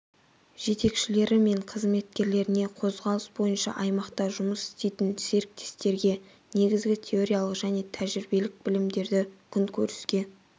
жетекшілері мен қызметкерлеріне қозғалыс бойынша аймақта жұмыс істейтін серіктестерге негізгі теориялық және тәжірибелік білімдерді күнкөріске